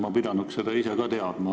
Ma pidanuks seda ise ka teadma.